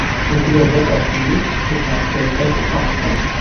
у тебя в запасе есть шестнадцатая часть фарт